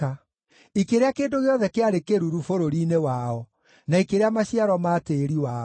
ikĩrĩa kĩndũ gĩothe kĩarĩ kĩĩruru bũrũri-inĩ wao, na ikĩrĩa maciaro ma tĩĩri wao.